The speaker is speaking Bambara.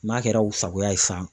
N'a kɛra u sagoya ye san.